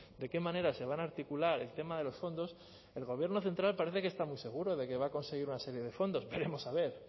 de qué manera se va a articular el tema de los fondos el gobierno central parece que está muy seguro de que va a conseguir una serie de fondos veremos a ver